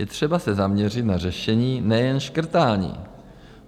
Je třeba se zaměřit na řešení, nejen škrtání.